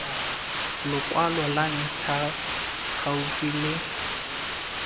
lokwalo lwa ntlha gaufi le